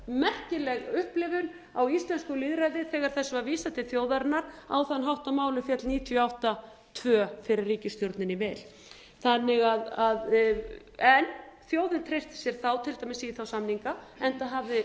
merkileg upplifun á íslensku lýðræði þegar þessu var vísað til þjóðarinnar á þann hátt að málið féll níutíu og átta tvö fyrir ríkisstjórninni í vil þjóðin treysti sér þá til dæmis í þá samninga enda hafði það mál